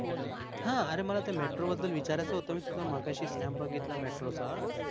ह आर मला त्या metro बद्दल विचारयच होत मी तुझा मघाशी snap बगितल metro च